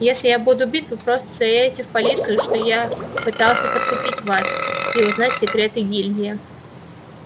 если я буду убит вы просто заявите в полицию что я пытался подкупить вас и узнать секреты гильдии